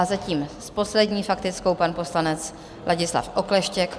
A zatím s poslední faktickou pan poslanec Ladislav Okleštěk.